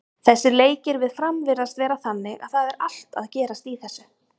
Þessir leikir við Fram virðast vera þannig að það er allt að gerast í þessu.